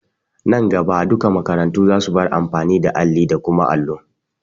Nan gaba duka makarantu za su bar amfani da alli da kuma allo.